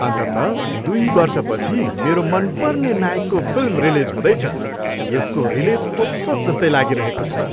अन्ततः दुई वर्षपछि मेरो मनपर्ने नायकको फिल्म रिलिज हुँदैछ, यसको रिलिज उत्सव जस्तै लागिरहेको छ।